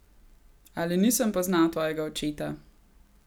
Ali nisem poznal tvojega očeta?